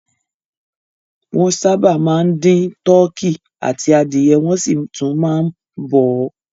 Wọ́n sábà máa ń dín tọkí àti adìẹ wọ́n sì tún máa ń bọ̀ ọ́.